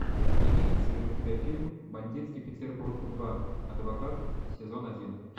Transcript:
имеется ли у тебя фильм бандитский петербург два адвокат сезон один